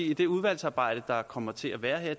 i det udvalgsarbejde der kommer til at være